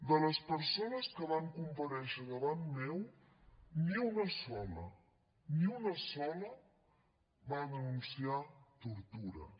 de les persones que van comparèixer davant meu ni una sola ni una sola va denunciar tortures